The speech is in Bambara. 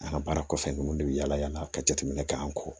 An ka baara kɔfɛ ninnu de bɛ yaala yaala ka jateminɛ k'an kɔ